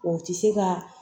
O ti se ka